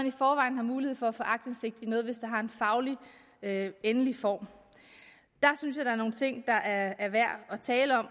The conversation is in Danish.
i forvejen er mulighed for at få aktindsigt i noget hvis det har en fagligt endelig form der synes jeg der er nogle ting der er værd at tale om